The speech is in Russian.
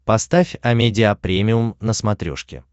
поставь амедиа премиум на смотрешке